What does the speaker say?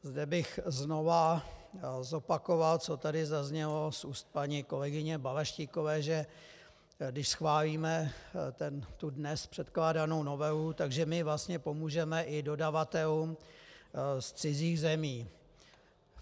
Zde bych znova zopakoval, co tady zaznělo z úst paní kolegyně Balaštíkové, že když schválíme tu dnes předkládanou novelu, že my vlastně pomůžeme i dodavatelům z cizích zemí.